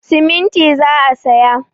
Siminti za a saya.